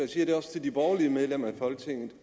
siger det også til de borgerlige medlemmer i folketinget